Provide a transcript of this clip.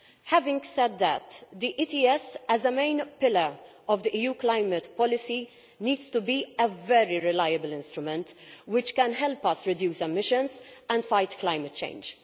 Having said that, the ETS as a main pillar of EU climate policy needs to be a very reliable instrument which can help us reduce emissions and fight climate change.